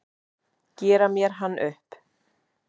Gera mér hann upp?